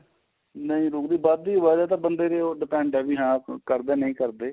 ਨਹੀਂ ਰੁਕਦੀ ਏ ਇਹ ਵੱਧਦੀ ਏ ਇਹ ਬੰਦੇ ਤੇ depend ਏ ਹਾਂ ਕਰਦੇ ਏ ਨਹੀਂ ਕਰਦੇ